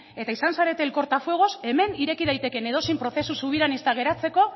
eta izan zarete el corta fuegos hemen ireki daiteken edozein prozesu zubian geratzeko